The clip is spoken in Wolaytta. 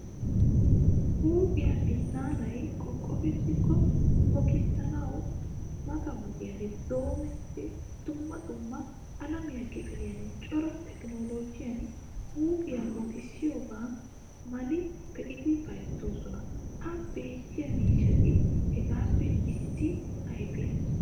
Huuphphiyaa binaanay qoqofettiko mokisanawu mata wodiyan doommidi dumma dumma alamiyaa kifiliyan cora tekinollojjiyan huuphphiyaa mokisiyaba mal'i beidi bayzzosona. Ha beetiyaa miishshati heegappe issi ayfiyaa.